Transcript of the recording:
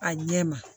A ɲɛ ma